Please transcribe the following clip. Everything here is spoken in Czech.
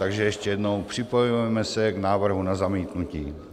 Takže ještě jednou, připojujeme se k návrhu na zamítnutí.